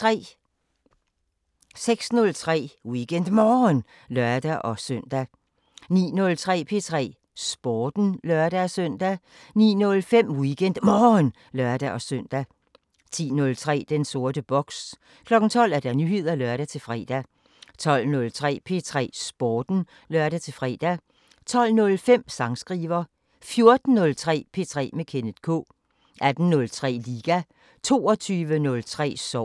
06:03: WeekendMorgen (lør-søn) 09:03: P3 Sporten (lør-søn) 09:05: WeekendMorgen (lør-søn) 10:03: Den sorte boks 12:00: Nyheder (lør-fre) 12:03: P3 Sporten (lør-fre) 12:05: Sangskriver 14:03: P3 med Kenneth K 18:03: Liga 22:03: Sovsen